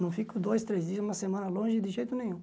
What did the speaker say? Não fico dois, três dias, uma semana longe de jeito nenhum.